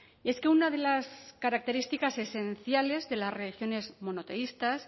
y es que una de las características esenciales de las regiones monoteístas